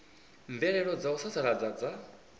mvelelo dza u sasaladza dza